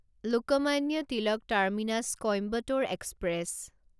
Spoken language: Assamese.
Lokmanya Tilak terminus Coimbatore express